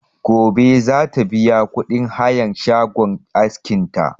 Gobe za ta biya kuɗin hayan shagon askin ta